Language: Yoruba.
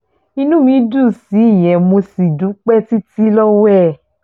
inú mi dùn sí ìyẹn mo sì dúpẹ́ títí lọ́wọ́ ẹ̀